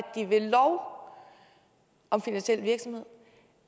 de ved lov om finansiel virksomhed